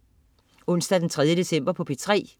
Onsdag den 3. december - P3: